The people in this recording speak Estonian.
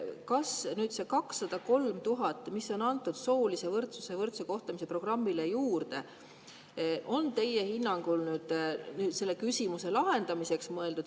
Kas see 203 000, mis on antud soolise võrdsuse ja võrdse kohtlemise programmile juurde, on teie hinnangul nüüd selle küsimuse lahendamiseks mõeldud?